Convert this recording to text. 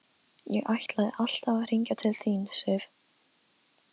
Ég ætlaði alltaf að hringja til þín, Sif.